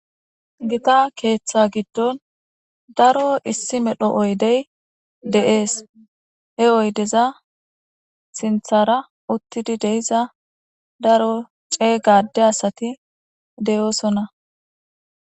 Gita keeththa giddon daro issi medho oydey de7ees he oydeza sinthara uttidi deiza daro cee gade asati deyoosonna.